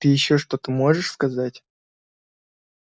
ты ещё что-то можешь сказать